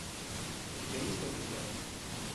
у тебя есть побеждай